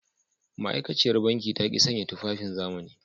Ma’aikaciyar banki ta ki sanya tufafin zamani.